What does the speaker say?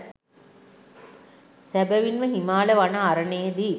සැබැවින්ම හිමාල වන අරණේදී